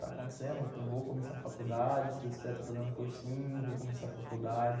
Está acontecendo, vou começar a faculdade, se Deus quiser, estou fazendo cursinho, vou começar a faculdade.